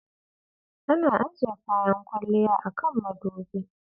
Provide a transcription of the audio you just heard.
Ana ajiye kayan kwalliya a kan mudubi.